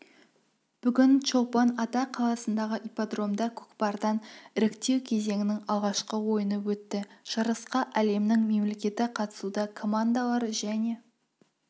бүгін чолпан-ата қаласындағы ипподромда көкпардан іріктеу кезеңінің алғашқы ойыны өтті жарысқа әлемнің мемлекеті қатысуда командалар және